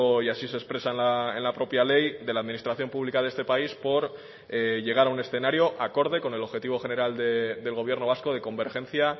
y así se expresa en la propia ley de la administración pública de este país por llegar a un escenario acorde con el objetivo general del gobierno vasco de convergencia